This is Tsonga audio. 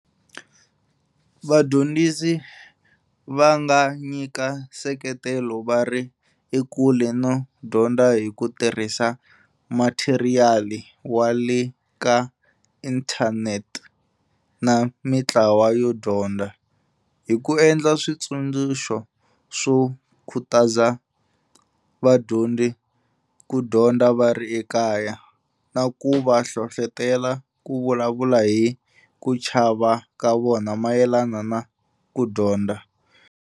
Vadyondzisi va nga nyika nseketelo va ri ekule no dyondza hi ku tirhisa matheriyali wa le ka inthanete na mitlawa yo dyondza, hi ku endla switsundzuxo swo khutaza vadyondzi ku dyondza va ri ekaya, na ku va hlohlotela ku vulavula hi ku chava ka vona mayelana na ku dyondza.